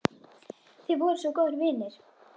Þið voruð svo góðir vinir.